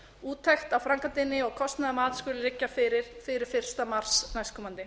úttekt á framkvæmdinni og kostnaðarmat skulu liggja fyrir fyrir fyrsta mars næstkomandi